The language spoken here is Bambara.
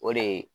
O de ye